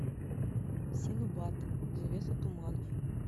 синбад завеса туманов